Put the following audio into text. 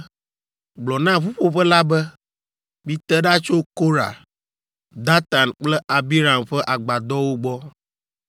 “Gblɔ na ƒuƒoƒe la be, ‘Mite ɖa tso Korah, Datan kple Abiram ƒe agbadɔwo gbɔ.’ ”